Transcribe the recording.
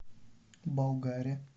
болгаре